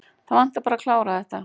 Það vantaði bara að klára þetta.